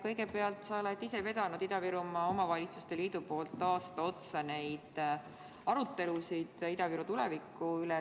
Kõigepealt, sa oled ise vedanud Ida-Virumaa Omavalitsuste Liidu poolt aasta otsa neid arutelusid Ida-Viru tuleviku üle.